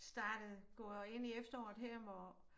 Startet gået ind i efteråret her hvor